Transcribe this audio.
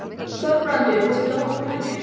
Þorbrandur, viltu hoppa með mér?